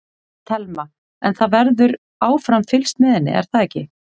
Telma: En það verður áfram fylgst með henni er það ekki?